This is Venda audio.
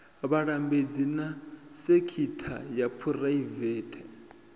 vhalambedzi na sekitha ya phuraivete